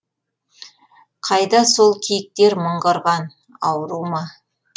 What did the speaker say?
қайда сол киіктер мыңғырған ауру ма